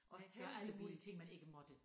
Og gøre alle mulige ting man ikke måtte